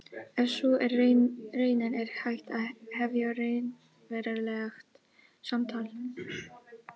Ef sú er raunin er hægt að hefja raunverulegt samtal.